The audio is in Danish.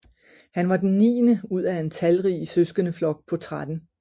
Han var den niende ud af en talrig sødskendeflok på 13